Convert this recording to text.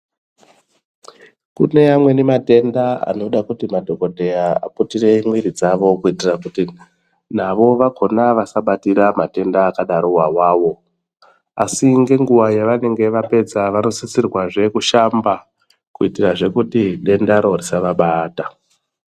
Kune amweni matenda anoda kuti madhokodheya aputire mwiri dzavo kuitira kuti navo vakona vasabatira matenda akadarowo iwawo asi ngenguwa yavanenge vapedza vanosisirwa zvekushamba kuitira kuti dendaro risavabata.